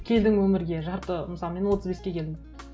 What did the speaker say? келдің өмірге жарты мысалы мен отыз беске келдім